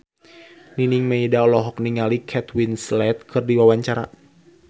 Nining Meida olohok ningali Kate Winslet keur diwawancara